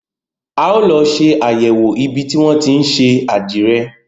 A ó lọ ṣe àyẹ̀wò ibi tí wọn tí ń ṣe àdìrẹ.